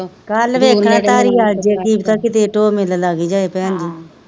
ਕੱਲ ਵੇਖਣਾ ਸਾਰ ਹੀ ਕੀਤੇ ਡੋਹ ਮੀਲ ਲੱਗ ਜਾਏ ਭੈਣਜੀ,